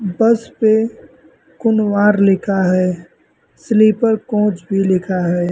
बस पे कुनवार लिखा है स्लीपर कोच भी लिखा है।